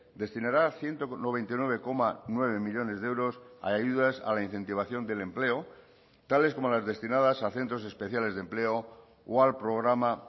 destinará ciento noventa y nueve coma nueve millónes de euros a ayudas a la incentivación del empleo tales como las destinadas a centros especiales de empleo o al programa